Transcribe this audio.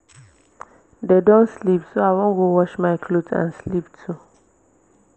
dey don sleep so i wan go wash my cloth and sleep too